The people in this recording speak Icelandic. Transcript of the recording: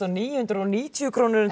níu hundruð og níutíu krónum